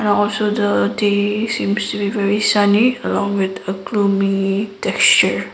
also the day seems to be very sunny along with a gloomy texture.